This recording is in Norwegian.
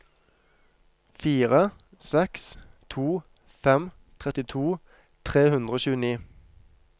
fire seks to fem trettito tre hundre og tjueni